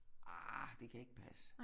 Ah det kan ikke passe